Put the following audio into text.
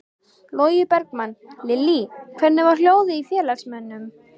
Logi Bergmann: Lillý, hvernig var hljóðið í félagsmönnum?